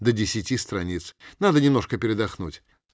до десяти страниц надо немножко передохнуть